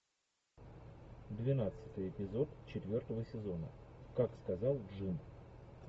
двенадцатый эпизод четвертого сезона как сказал джим